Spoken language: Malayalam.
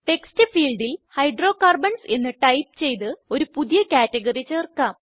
ടെക്സ്റ്റ് ഫീൽഡിൽ ഹൈഡ്രോകാർബൺസ് എന്ന് ടൈപ്പ് ചെയ്ത് ഒരു പുതിയ കാറ്റഗറി ചേർക്കാം